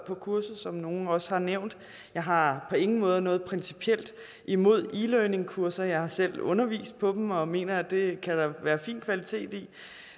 på kurset som nogle også har nævnt jeg har på ingen måde noget principielt imod e learningkurser jeg har selv undervist på dem og mener at det kan der da være fin kvalitet i